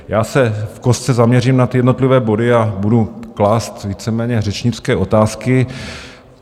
Já se v kostce zaměřím na ty jednotlivé body a budu klást víceméně řečnické otázky.